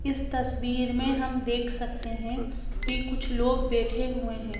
इस तस्वीर में हम देख सकते हैं कि कुछ लोग बैठे हुए हैं।